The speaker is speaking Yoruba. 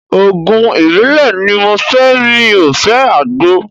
Òògùn ìbílẹ̀ ni mo fẹ́ mi ò fẹ́ Àgbo.